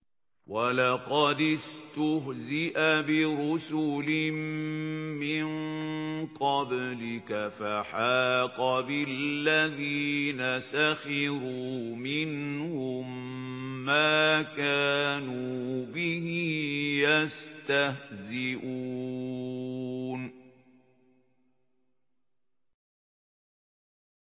وَلَقَدِ اسْتُهْزِئَ بِرُسُلٍ مِّن قَبْلِكَ فَحَاقَ بِالَّذِينَ سَخِرُوا مِنْهُم مَّا كَانُوا بِهِ يَسْتَهْزِئُونَ